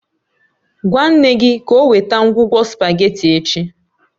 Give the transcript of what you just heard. Gwa nne gị ka o weta ngwugwu spaghetti echi